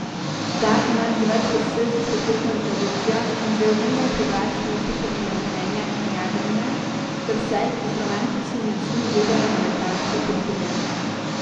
Ta ima že več kot šestdesetletno tradicijo in že od nekdaj privlači ljubitelje letenja in jadranja ter vse, ki z romantičnimi očmi gledajo na letalske podvige.